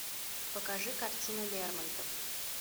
покажи картину лермонтов